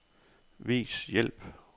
Vis hjælp.